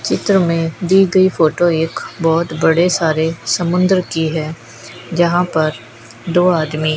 चित्र में दी गई फोटो एक बहुत बड़े सारे समुद्र की है जहां पर दो आदमी --